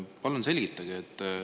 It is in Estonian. Palun selgitage.